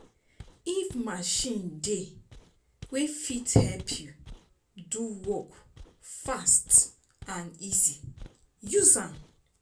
If machine dey wey fit help you do work fast and easy, use am